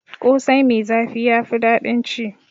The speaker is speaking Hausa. Ƙosai mai zafi ya fi daɗin ci.